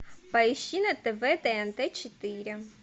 поищи на тв тнт четыре